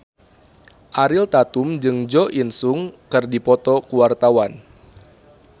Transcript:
Ariel Tatum jeung Jo In Sung keur dipoto ku wartawan